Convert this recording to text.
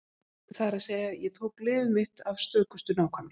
Það er að segja: Ég tók lyfið mitt af stökustu nákvæmni.